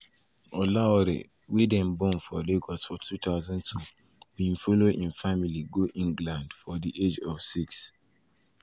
di 22-year-old get one clear role model wey e dey follow wella to make am di two time world time world champion anthony joshua.